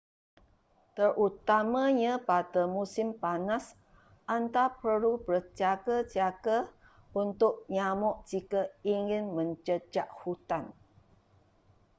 terutamanya pada musim panas anda perlu berjaga-jaga untuk nyamuk jika ingin menjejak hutan